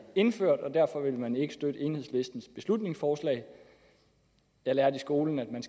indført og derfor vil man ikke støtte enhedslistens beslutningsforslag jeg lærte i skolen at man